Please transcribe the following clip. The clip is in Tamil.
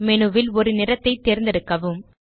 மேனு ல் ஒரு நிறத்தை தேர்ந்தெடுக்கவும்